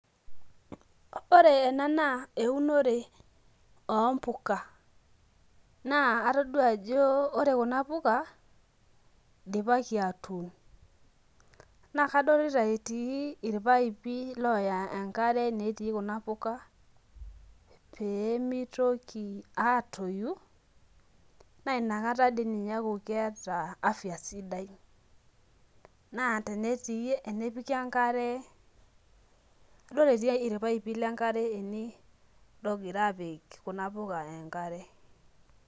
Ore ena naa eunore ompuka. Naa atodua ajo ore kuna puka, idipaki atuun. Na kadolita etii irpaipi loya enkare, netii kuna puka, pee mitoki atoyu, na inakata di ninye eku keeta afya sidai. Naa tenetii enepiki enkare, adol etiai irpaipi lenkare ene logira apik kuna puka enkare.